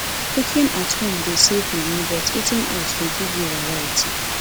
cooking at home dey save money but eating out dey give you variety